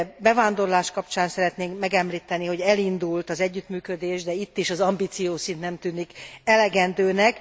Bevándorlás kapcsán szeretném megemlíteni, hogy elindult az együttműködés, de itt is az ambíciószint nem tűnik elegendőnek.